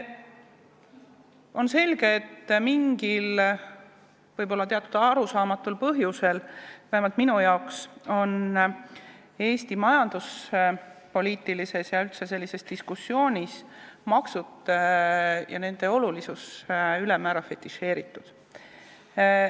On selge, et mingil ja võib-olla teatud määral arusaamatul põhjusel, vähemalt minu jaoks, on Eesti majanduspoliitilises ja üldse sellises diskussioonis maksud ja nende olulisus ülemäära fetišeeritud.